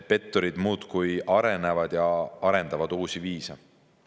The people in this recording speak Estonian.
Petturid muudkui arenevad ja arendavad uusi viise.